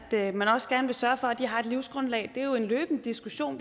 at man også gerne vil sørge for at de har et livsgrundlag det er jo en løbende diskussion